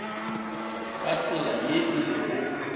ka tsela ye e lego